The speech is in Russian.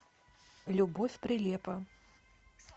любовь прилепа